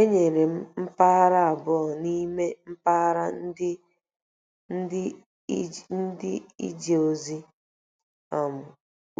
Enyere m mpaghara abụọ n'ime mpaghara ndị a ije ozi: um